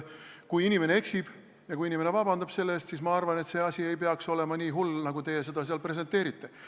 Kui inimene eksib ja kui inimene vabandab, siis ma arvan, et see asi ei peaks olema nii hull, nagu teie seal presenteerite.